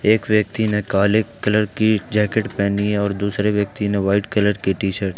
एक व्यक्ति ने काले कलर की जैकेट पहनी है और दूसरे व्यक्ति ने व्हाइट कलर की टीशर्ट ।